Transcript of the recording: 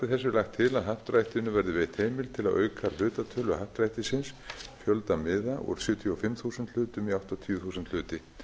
þessu er lagt til að happdrættinu verði veitt heimild til að auka hlutatölu happdrættisins fjölda miða úr sjötíu og fimm þúsund hlutum í áttatíu þúsund hluti